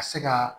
Ka se ka